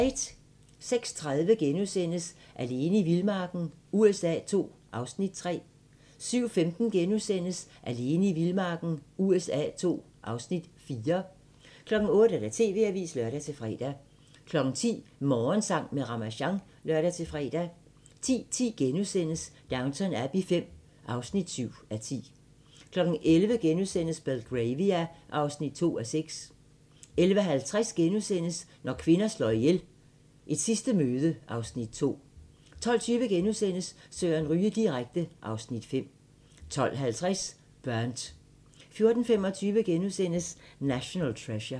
06:30: Alene i vildmarken USA II (Afs. 3)* 07:15: Alene i vildmarken USA II (Afs. 4)* 08:00: TV-avisen (lør-fre) 10:00: Morgensang med Ramasjang (lør-fre) 10:10: Downton Abbey V (7:10)* 11:00: Belgravia (2:6)* 11:50: Når kvinder slår ihjel - Et sidste møde (Afs. 2)* 12:20: Søren Ryge direkte (Afs. 5)* 12:50: Burnt 14:25: National Treasure *